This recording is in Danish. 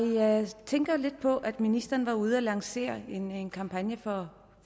tænker lidt på at ministeren var ude at lancere en en kampagne for